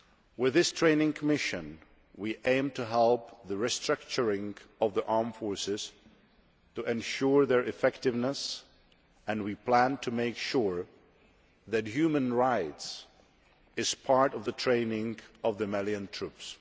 With this training mission, we aim to help the re structuring of the armed forces to ensure their effectiveness and we plan to make sure that human rights is part of the training of the Malian troops.